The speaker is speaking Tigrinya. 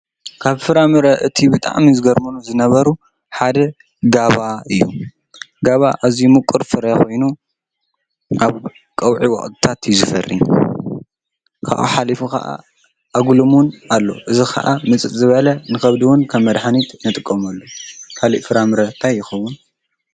ካብ ፍራምረ እቱይ ብጣዕሚ ዝገርሙኒ ዝነበሩ ሓደ ጋባ እዩ። ጋባ ኣዝዩ ምቁር ፍረ ኮይኑ ናብ ቅውዒ ወቅትታት እዩ ዝፈሪ ካብኡ ሓሊፉ ከዓ ኣጉልሙን ኣሎ እዙይ ከዓ ምፅፅ ዝበለ ንከብዲ እውን ከም መድሓኒት ንጥቀመሉ። ካሊኢ ፍራምረ እንታይ ይከውን?